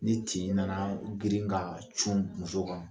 Ni tin nana u girin ka cun muso kan